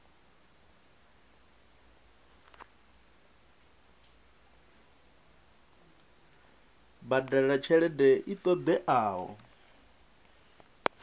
badela tshelede i ṱo ḓeaho